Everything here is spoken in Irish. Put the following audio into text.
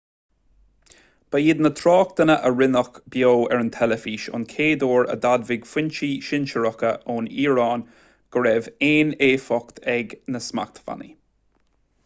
ba iad na tráchtanna a rinneadh beo ar an teilifís an chéad uair a d'admhaigh foinsí sinsearacha ón iaráin go raibh aon éifeacht ag na smachtbhannaí